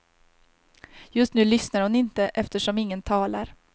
Just nu lyssnar hon inte, eftersom ingen talar.